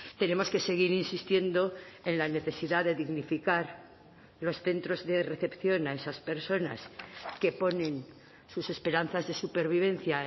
tenemos que seguir insistiendo en la necesidad de dignificar los centros de recepción a esas personas que ponen sus esperanzas de supervivencia